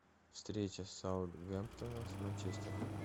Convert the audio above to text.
встреча саутгемптона с манчестером